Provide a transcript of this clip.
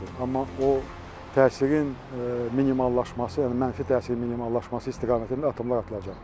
Amma o təsirin minimallaşması, yəni mənfi təsirin minimallaşması istiqamətində addımlar atılacaqdır.